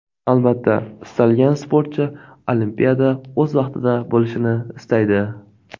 Albatta, istalgan sportchi Olimpiada o‘z vaqtida bo‘lishini istaydi.